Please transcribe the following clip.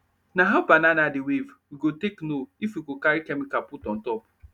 nah how banana dey wave we go take know if we go carry chemical put on top